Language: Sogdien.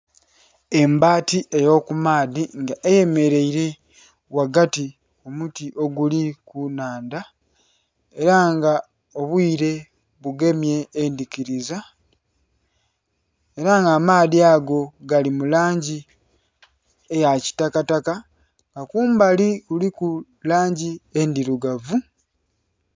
Embati ey'okumaadhi nga eyemeleile ghagati ku muti oguli ku nnhandha ela nga obwiire bugemye endhikiliza ela nga amaadhi ago gali mu langi eya kitakataka nga kumbali kuliku langi endhilugavu.